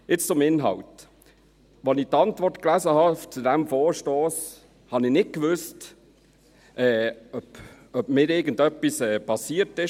Jetzt zum Inhalt: Als ich die Antwort zu diesem Vorstoss las, wusste ich nicht, ob mir oder meinem Gedächtnis irgendetwas passiert ist.